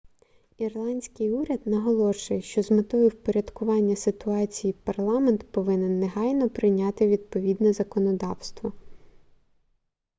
ірландський уряд наголошує що з метою впорядкування ситуації парламент повинен негайно прийняти відповідне законодавство